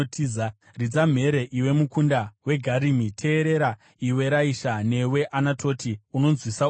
Ridza mhere, iwe mukunda weGarimi! Teerera, iwe Raisha! Newe Anatoti unonzwisa urombo!